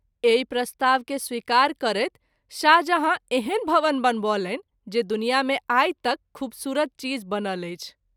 एहि प्रस्ताव के स्वीकार करैत शाहजहाँ एहन भवन बनबौलनि जे दुनियाँ मे आई तैक ख़ूबसूरत चीज बनल अछि।